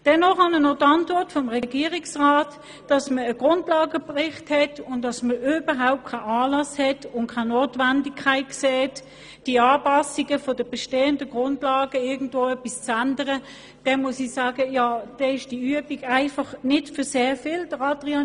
Wenn ich der Antwort des Regierungsrats entnehme, dass man einen Grundlagenbericht hat und überhaupt keinen Anlass und keine Notwendigkeit sieht, an den bestehenden Grundlagen irgendetwas zu ändern, dann ist diese Übung einfach nicht zu sehr viel nütze.